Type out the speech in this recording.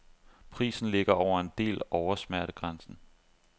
Prisen ligger over en del oversmertegrænsen.